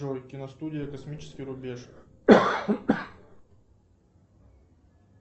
джой киностудия космический рубеж